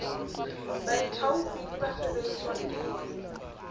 baithaopi le ba sebeletswang ke